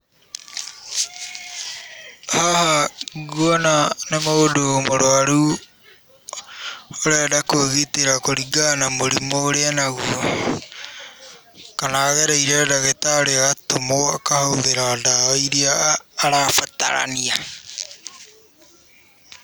Haha nguona nĩ mũndũ mũrwaru ũrenda kwĩgitĩra kũringana na mũrimũ ũrĩa enaguo, kana agereire ndagĩtarĩ agatũmwo akahũthĩra ndawa iria arabatarania.